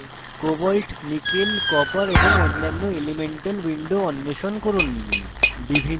cobalt co nickel ni copper cu এবং অন্যান্য elemental windows অন্বেষণ করুন